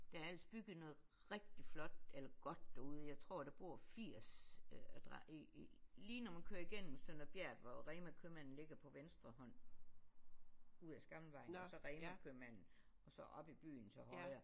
Der er ellers bygget noget rigtig flot eller godt derude jeg tror der bor 80 i i lige når man kører igennem Sønder Bjert hvor REMA købmanden ligger på venstre hånd ud af Skamlingvejen og så REMA købmanden og så op i byen til højre